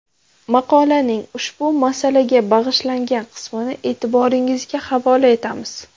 Maqolaning ushbu masalaga bag‘ishlangan qismini e’tiboringizga havola etamiz.